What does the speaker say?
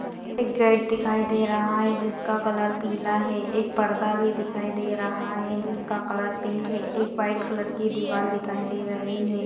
Gate दिखाई दे रहा है जिस का कलर पीला है एक पर्दा भी दिखाई दे रहा है जिस का कलर पिंक है एक व्हाइट कलर की दीवाल दिखाई दे रही है।